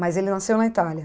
Mas ele nasceu na Itália?